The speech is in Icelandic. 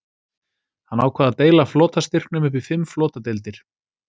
Hann ákvað að deila flotastyrknum upp í fimm flotadeildir.